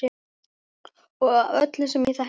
Og af öllum sem ég þekki.